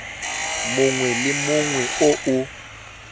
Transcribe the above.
mongwe le mongwe o o